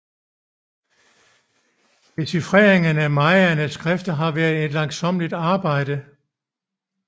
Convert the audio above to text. Dechifreringen af mayaernes skrifter har været et langsommeligt arbejde